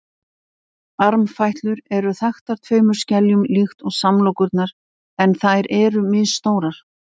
armfætlur eru þaktar tveimur skeljum líkt og samlokurnar en þær eru misstórar